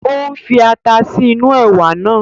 Ó ń fi ata sí inú ẹ̀wà náà